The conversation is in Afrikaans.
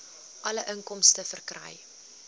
alle inkomste verkry